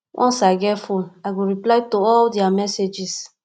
once i get my fone i go reply to all their messages